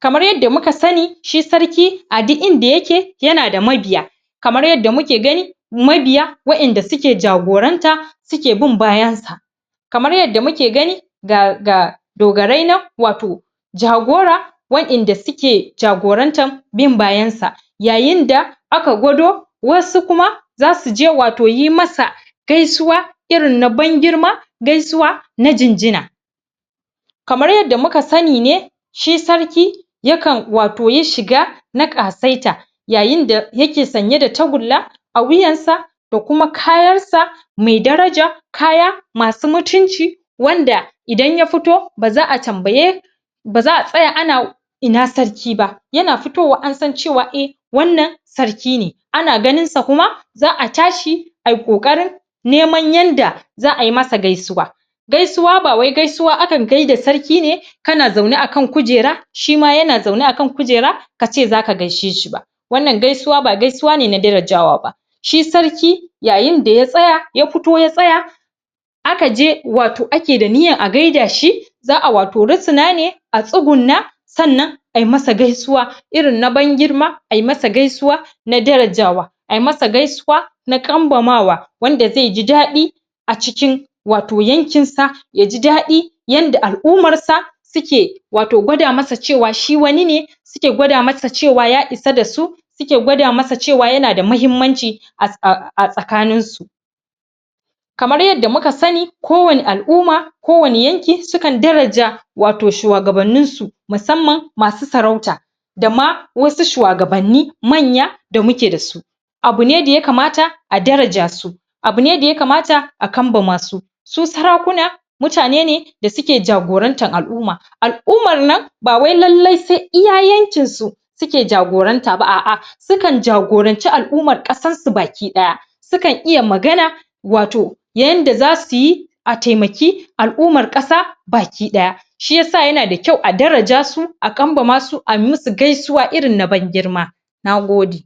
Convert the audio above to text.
kamar yadda muka sanin shi sarki a duk inda yake yanada mabiya kamar yadda muke gani mabiya wa 'yanda suke jagoranta suke bin bayan sa kamar yadda muke gani ga dogarai nan wato jagora wa 'yanda suke jagorantan bin bayan ka yayin da aka gwado wasu kuma zasu je wato gaisuwa irin na ban girma gaisuwa irin na jinjina kamar yadda muka sani shi sarki yakan wato yi shiga na ƙasaita yayin da yake sanye da tagulla a wuyan sa da kuma kayar sa mai daraja kaya masu mutunci wanda idan ya fito baza a tambaye baza a tsaya ana ina sarki ba yana fito wa an san cewa eh wannan sarki ne ana ganin sa kuma za'a tashi ayi ƙoƙarin neman yanda za'a yi masa gaisuwa gaisuwa bawai akan gaida da sarki ne kana zaune akan kujera shima yana zaune akan kujera kace zaka gaishe shi ba wannan gaisuwa ba gaisuwa ne na darajawa ba shi sarki yayin da ya fito ya tsaya aka je wato ake da niyan a gaida shi za'a wato risina ne a tsuguna sannan ayi masa gaisuwa irin na ban girma ayi masa gaisuwa na darajawa ayi masa gaisuwa na kanbamawa wanda zai ji daɗi a cikin wato yankin sa yaji daɗi yanda al'umar sa suke wato gwada masa cewa shi wani ne suke gwada masa cewa ya isa dasu suke masa cewa yanda mahimmanci a tsakanin su kamar yadda muka sani ko wani al'uma ko wani yanki su kan daraja ato shuwagabannin su musamman masu sarauta dama wasu shuwagabanni manya da muke dasu abu ne da yakamta a daraja su abu ne da yakamta a kanbamasu su sarakuna mutane da suke jagorantar al'uma al'umar nan bawai lalle sai iya yankisu suke jagoranta ba a a sukan jagoranci al'umar ƙasar su baki daya sukan iya magana wato na yanda zasu yi a taimaki al'umar ƙasa baki ɗaya shiyasa yanada da kyau a daraja su a kanbamasu a yi musu gaisuwa irin na ban girma na gode